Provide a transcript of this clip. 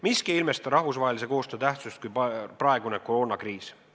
Miski ei ilmesta rahvusvahelise koostöö tähtsust rohkem kui praegune koroonakriis.